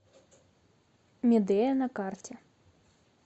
медея на карте